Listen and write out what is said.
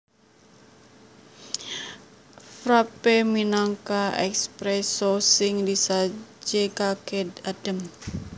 Frappé minangka espresso sing disajèkaké adhem